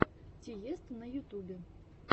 тиесто на ютубе